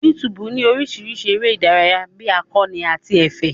YouTube ní oríṣìíríṣìí eré ìdárayá bí akọ́ni àti ẹ̀fẹ̀.